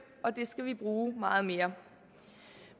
og det skal vi bruge meget mere